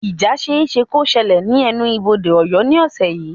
Ìjà ṣeéṣe kó ṣẹlẹ̀ ní ẹnu-bodé Ọ̀yọ́ ní ọ̀sẹ̀ yìí